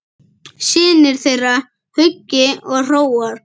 Synir þeirra Hugi og Hróar.